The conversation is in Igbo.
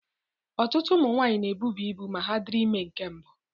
Ọtụtụ ụmụ nwanyị na-ebuba ibu ma ha dịrị ime nke mbụ